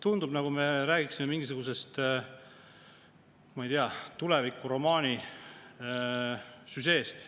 Tundub, nagu me räägiksime mingisugusest, ma ei tea, tulevikuromaani süžeest.